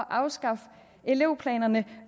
afskaffe elevplanerne